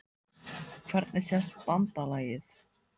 Hvernig sést BANDALAGIÐ?